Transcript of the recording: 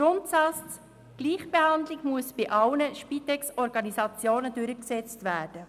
Grundsatz: Gleichbehandlung muss bei allen Spitex-Organisationen durchgesetzt werden.